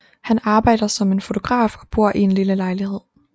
Han arbejder som en fotograf og bor i en lille lejlighed